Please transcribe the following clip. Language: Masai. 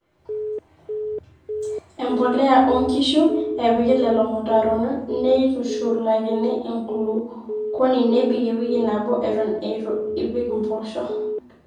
empolea oonkishu. epiki lelo mutaron neitushulakini enkulukuoni nebik ewiki nabo eton eitu ipik impoosho